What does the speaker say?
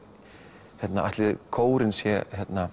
hérna ætli kórinn sé